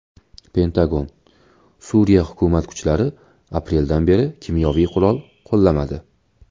Pentagon: Suriya hukumat kuchlari apreldan beri kimyoviy qurol qo‘llamadi.